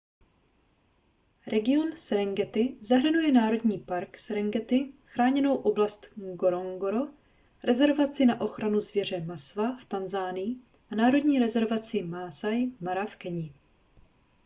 region serengeti zahrnuje národní park serengeti chráněnou oblast ngorongoro rezervaci na ochranu zvěře maswa v tanzanii a národní rezervaci maasai mara v keni